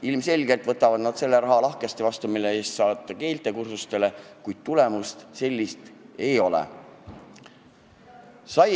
Ilmselgelt võetakse see raha lahkesti vastu, et saata inimesi keelekursustele, kuid tulemust kui sellist ei ole.